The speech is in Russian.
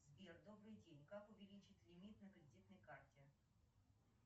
сбер добрый день как увеличить лимит на кредитной карте